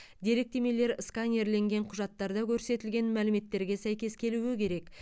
деректемелер сканерленген құжаттарда көрсетілген мәліметтерге сәйкес келуі керек